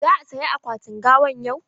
Za a saya akwatin gawan yau?